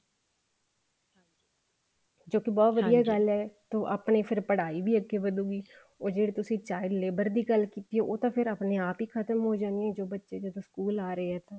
ਜੋ ਬਹੁਤ ਵਧੀਆ ਗੱਲ ਹੈ ਆਪਣੀ ਫ਼ੇਰ ਪੜਾਈ ਵੀ ਅੱਗੇ ਵਧੂਗੀ ਉਹ ਜਿਹੜੀ ਤੁਸੀਂ child ਲੇਬਰ ਦੀ ਗੱਲ ਲੀਤੀ ਆ ਉਹ ਤਾਂ ਫ਼ੇਰ ਆਪਣੇ ਆਪ ਹੀ ਖਤਮ ਹੋ ਜਾਣੀ ਜ ਬੱਚੇ ਜਦੋਂ ਸਕੂਲ ਆ ਰਹੇ ਆ ਤਾਂ